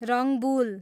Rangbul